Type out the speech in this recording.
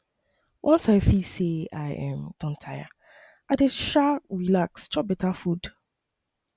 once i feel sey i um don tire i dey um relax chop beta food